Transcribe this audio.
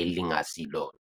elingasilona.